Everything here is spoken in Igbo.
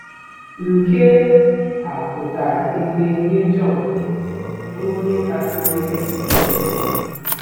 Nke a pụtara ìhè nye Jọn, bụ́ onye kasị dịrị ndụ ndụ.